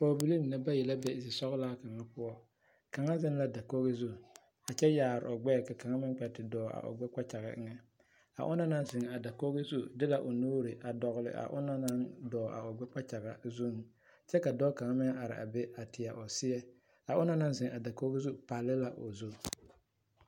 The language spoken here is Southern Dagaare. Pɔɡebilii mine bayi la be zesɔɔlaa kaŋa poɔ kaŋa zeŋ la dakoɡi zu kyɛ yaare o ɡbɛɛ ka kaŋa meŋ kpɛ te dɔɔ a o ɡbɛɛ kpakyaɡa eŋɛ a ona naŋ zeŋ a dakoɡi zu de la o nuuri a dɔɡele a ona naŋ zeŋ a o ɡbɛɛ kpakyaɡaŋ kyɛ ka dɔɔ kaŋ meŋ are a be teɛ o seɛ a ona naŋ zeŋ a dakoɡi zu pale la o zu.